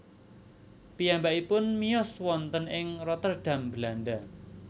Piyambakipun miyos wonten ing Rotterdam Belanda